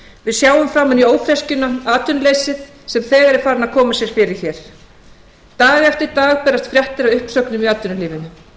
við sjáum framan í ófreskjuna atvinnuleysið sem þegar er farið að koma sér fyrir hér dag eftir dag berast fréttir af uppsögnum í atvinnulífinu